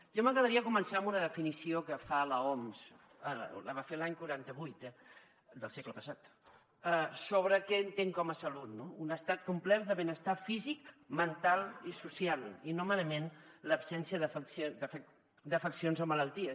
a mi m’agradaria començar amb una definició que fa l’oms la va fer l’any quaranta vuit del segle passat sobre què entén com a salut un estat complet de benestar físic mental i social i no merament l’absència d’afeccions o malalties